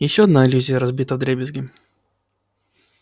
ещё одна иллюзия разбита вдребезги